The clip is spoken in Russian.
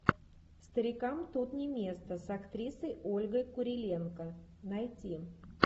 старикам тут не место с актрисой ольгой куриленко найти